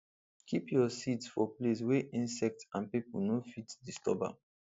keep your seeds for place wey insect and people no fit disturb am